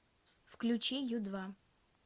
включи ю два